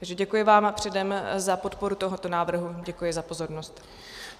Takže děkuji vám předem za podporu toho návrhu, děkuji za pozornost.